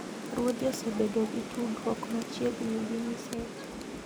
ruodhi osebedo gi tudruok machiegni gi nyiseche –